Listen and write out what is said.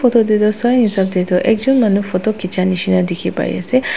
Tate toh Sai hisap te toh ekjun manu photo kicha nisina dekhi pai ase.